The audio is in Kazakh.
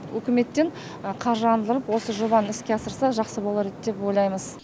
үкіметтен қаржыландырып осы жобаны іске асырсақ жақсы болар еді деп ойлаймыз